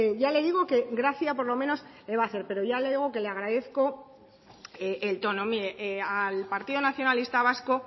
ya le digo que gracia por lo menos la va a hacer pero ya le digo que le agradezco el tono mire al partido nacionalista vasco